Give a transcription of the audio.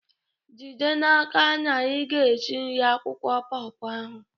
jide n'aka na ị na-esi nri akwụkwọ paw paw ahụ!